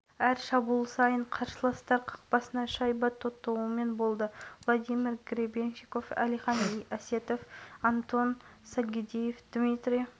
қазақстан хоккейшілері алматыдағы универсиаданың топтық кезеңін айқын жеңіспен бастады отандастарымыз қытай елінің хоккейшілерін есебімен ойсырата ұтты